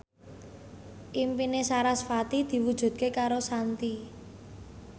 impine sarasvati diwujudke karo Shanti